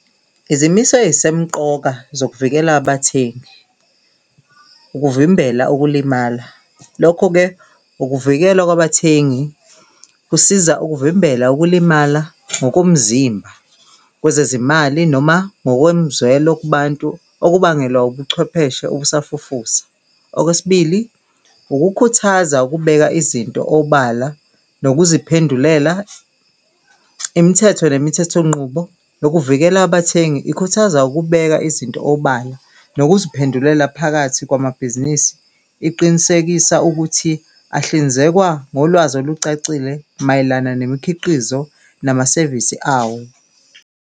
Izimiso eyisemqoka zokuvikela abathengi ukuvimbela ukulimala, lokho-ke ukuvikelwa kwabathengi kusiza ukuvimbela ukulimala ngokomzimba kwezezimali, noma noma ngokomzwelo kubantu okubangelwa ubuchwepheshe obusafufusa. Okwesibili, ukukhuthaza ukubeka izinto obala nokuziphendulela imithetho nemithetho nqubo lokuvikela abathengi ikhuthaza ukubeka izinto obala nokuziphendulela phakathi kwamabhizinisi, iqinisekisa ukuthi ahlinzekwa ngolwazi olucacile mayelana nemikhiqizo namasevisi awo.